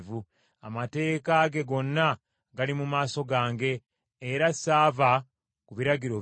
Amateeka ge gonna gaali mu maaso gange, era ssaava ku biragiro bye.